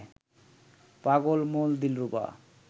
পাগল মন দিলরুবা